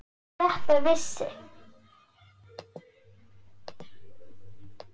Þetta vissi